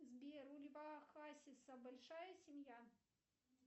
сбер у льва хасиса большая семья